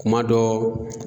Kuma dɔ